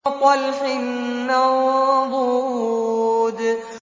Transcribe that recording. وَطَلْحٍ مَّنضُودٍ